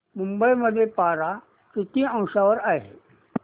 मुंबई मध्ये पारा किती अंशावर आहे